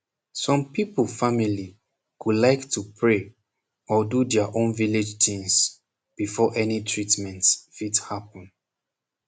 som people family go like to pray or do dia own village tins befor any treatment fit happen